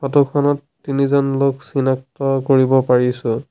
Photo খনত তিনিজন লোক চিনাক্ত কৰিব পাৰিছোঁ।